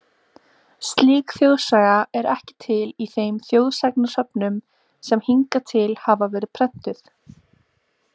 Slík þjóðsaga er ekki til í þeim þjóðsagnasöfnum sen hingað til hafa verið prentuð.